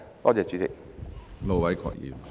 多謝主席。